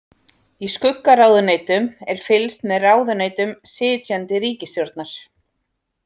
Í skuggaráðuneytum er fylgst með ráðuneytum sitjandi ríkisstjórnar.